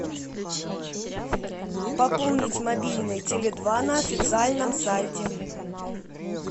пополнить мобильный теле два на официальном сайте